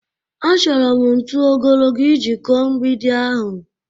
Achọrọ m ntu ogologo iji kụọ mgbidi ahụ